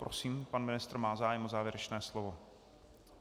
Prosím, pan ministr má zájem o závěrečné slovo.